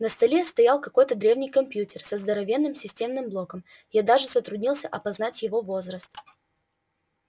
на столе стоял какой-то древний компьютер со здоровенным системным блоком я даже затруднился опознать его возраст